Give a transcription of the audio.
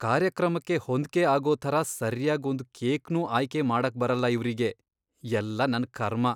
ಕಾರ್ಯಕ್ರಮಕ್ಕೆ ಹೊಂದ್ಕೆ ಆಗೋ ಥರ ಸರ್ಯಾಗ್ ಒಂದ್ ಕೇಕ್ನೂ ಆಯ್ಕೆ ಮಾಡಕ್ಬರಲ್ಲ ಇವ್ರಿಗೆ, ಎಲ್ಲ ನನ್ ಕರ್ಮ!